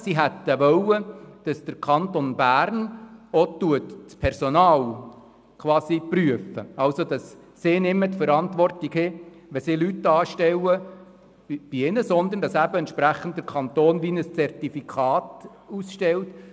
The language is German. Die Unternehmen hätten gewünscht, dass der Kanton Bern auch das Personal prüft und sie nicht mehr die Verantwortung tragen, wenn sie Leute anstellen, sondern dass der Kanton den Kandidierenden eine Art Zertifikat ausstellt.